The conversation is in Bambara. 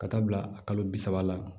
Ka taa bila kalo bi saba la